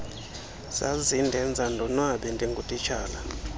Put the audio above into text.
zazindenza ndonwabe ndingutitshala